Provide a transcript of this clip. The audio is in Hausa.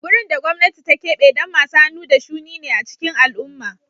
Wurin da gwamnati ta keɓe don masu hannu da shuni ne a cikin al'umma